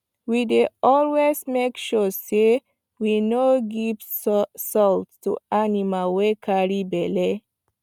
we dey always make sure say we no give salt to animal wy carry belle